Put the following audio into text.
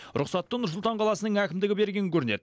рұқсатты нұр сұлтан қаласының әкімдігі берген көрінеді